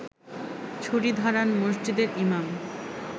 ছুরি ধারান মসজিদের ইমাম